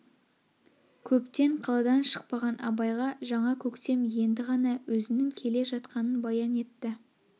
көптен қаладан шықпаған абайға жаңа көктем енді ғана өзнің келе жатқанын баян етті